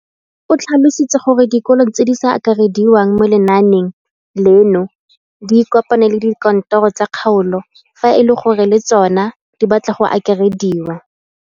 O tlhalositse gore dikolo tse di sa akarediwang mo lenaaneng leno di ikopanye le dikantoro tsa kgaolo fa e le gore le tsona di batla go akarediwa.